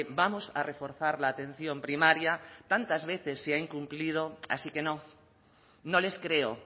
vamos a reforzar la atención primaria tantas veces se ha incumplido así que no no les creo